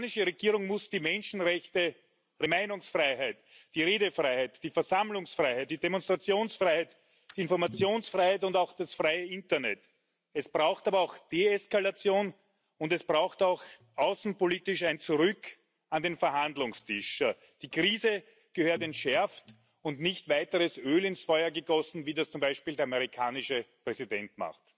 Die iranische Regierung muss die Menschenrechte, die Meinungsfreiheit, die Redefreiheit, die Versammlungsfreiheit, die Demonstrationsfreiheit, die Informationsfreiheit und auch das freie Internet respektieren. Es braucht aber auch Deeskalation, und es braucht auch außenpolitisch ein Zurück an den Verhandlungstisch. Die Krise gehört entschärft, und es darf nicht weiteres Öl ins Feuer gegossen werden, wie das zum Beispiel der amerikanische Präsident macht.